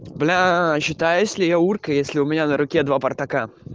блять считаюсь ли я урка если у меня на руке два спартака